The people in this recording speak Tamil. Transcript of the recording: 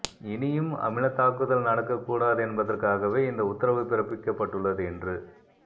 இனியும் அமிலதாக்குதல் நடக்க கூடாது என்பதற்காகவே இந்த உத்தரவு பிறப்பிக்கப்பட்டுள்ளது என்று